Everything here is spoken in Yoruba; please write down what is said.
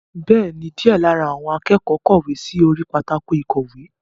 Bẹ́ẹ̀ni, díẹ̀ lára àwọn akẹ́kọ̀ọ́ kọ̀wé sí orí pátákó ìkọ̀wé.